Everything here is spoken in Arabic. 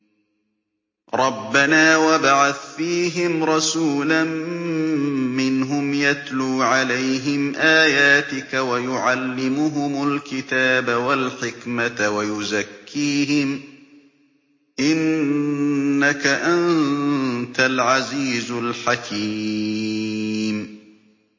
رَبَّنَا وَابْعَثْ فِيهِمْ رَسُولًا مِّنْهُمْ يَتْلُو عَلَيْهِمْ آيَاتِكَ وَيُعَلِّمُهُمُ الْكِتَابَ وَالْحِكْمَةَ وَيُزَكِّيهِمْ ۚ إِنَّكَ أَنتَ الْعَزِيزُ الْحَكِيمُ